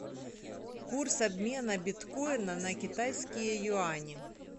курс обмена биткоина на китайские юани